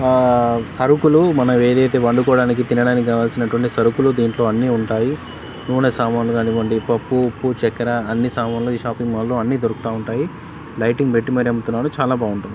ఆహ్హ సరుకులు మనమేదైతే వండుకోడానికి తినడానికి గావల్సినటువంటి సరుకులు దీంట్లో అన్నీ ఉంటాయి నూనె సామాన్లు గానివ్వండి కానీవ్వండి పప్పు ఉప్పు చక్కెర అన్నీ సామాన్లు ఈ షాపింగ్ మాల్ లో అన్నీ దొరుకుతా ఉంటాయి లైటింగ్ బెట్టి పెట్టి మరి అమ్ముతున్నారు చాలా బాగుంటుంది